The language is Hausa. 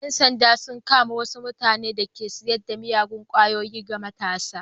Yan sanda sun kama wasu mutane da ke sayar da miyagun kwayoyi ga matasa.